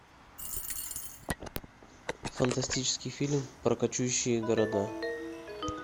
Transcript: фантастический фильм про кочующие города